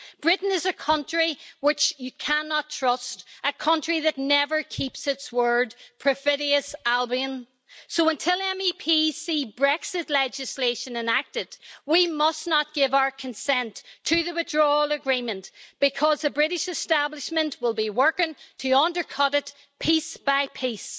Britain is a country which you cannot trust, a country that never keeps its word, Perfidious Albion. So, until MEPs see Brexit legislation enacted, we must not give our consent to the Withdrawal Agreement because the British establishment will be working to undercut it piece by piece.